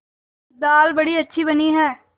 दाल बड़ी अच्छी बनी है